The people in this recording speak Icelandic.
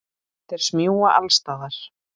Þeir smjúga alls staðar.